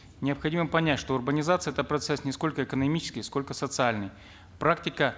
необходимо понять что урбанизация это процесс не сколько экономический сколько социальный практика